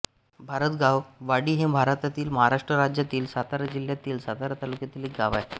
भारतगाववाडी हे भारतातील महाराष्ट्र राज्यातील सातारा जिल्ह्यातील सातारा तालुक्यातील एक गाव आहे